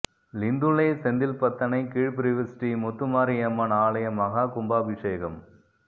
லிந்துலை செந்தில்பத்தனை கீழ்பிரிவு ஸ்ரீ முத்துமாரி அம்மன் ஆலய மஹா கும்பாபிஷேகம்